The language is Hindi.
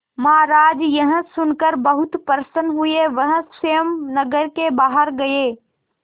महाराज यह सुनकर बहुत प्रसन्न हुए वह स्वयं नगर के बाहर गए